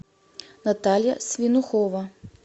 наталья свинухова